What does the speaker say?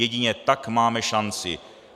Jedině tak máme šanci.